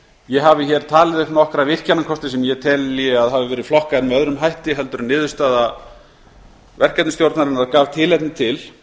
ég hafi talið upp nokkra virkjunarkosti sem ég telji að hafi verið flokkaðir öðrum hætti heldur en niðurstaða verkefnastjórnarinnar gaf tilefni til